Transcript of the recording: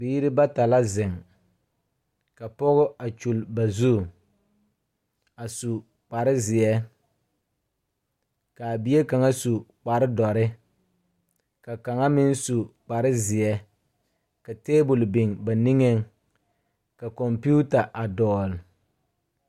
Biire bata la zeŋ ka pɔge a kyule ba zu a su kparezeɛ kaa bie kaŋa su kparedɔre ka kaŋa meŋ su kparezeɛ ka tabol biŋ ba niŋeŋ ka kɔmpiuta a dɔɔle.